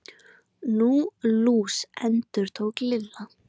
Nú, lús. endurtók Lilla.